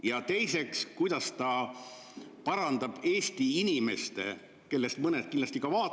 Ja teiseks, kuidas ta parandab Eesti inimeste, kellest mõned kindlasti vaatavad praegu …